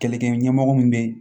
Kɛlɛkɛ ɲɛmɔgɔ min bɛ